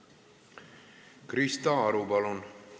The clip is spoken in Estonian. Krista Aru, palun!